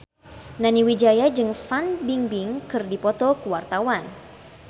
Nani Wijaya jeung Fan Bingbing keur dipoto ku wartawan